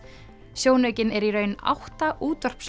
sjónaukinn er í raun átta